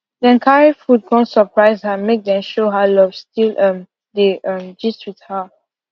dem carry food come surprise her make dem show her love still um dey um gist with her